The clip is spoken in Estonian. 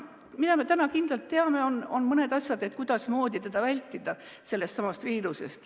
Mida me täna kindlalt teame, on see, kuidas seda viirust vältida.